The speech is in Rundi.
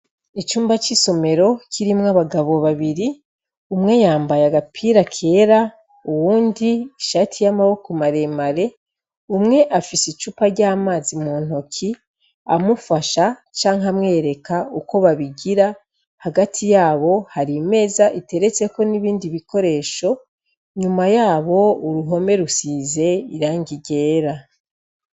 Icumba c'isomero, kirimwo abagabo babiri, umwe yambaye agapira kera, uwundi ishati y'amaboko maremare, umwe afise icupa ry'amazi mu ntoki, amufasha canke amwereka uko babigira; hagati yabo hari imeza iteretseko n'ibindi bikoresho, inyuma yabo uruhome rusize irangi ryera.